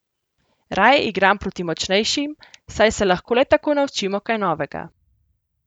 Raje igram proti močnejšim, saj se lahko le tako naučimo kaj novega.